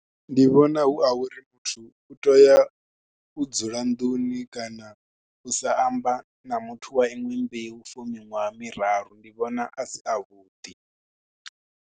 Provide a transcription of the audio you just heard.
Ndi vhona hu a uri muthu u tea u dzula nḓuni kana u sa amba na muthu wa iṅwe mbeu for miṅwaha miraru, ndi vhona a si avhuḓi.